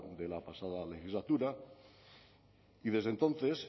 de la pasada legislatura y desde entonces